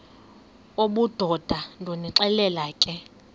obudoda ndonixelela ke